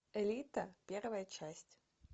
элита первая часть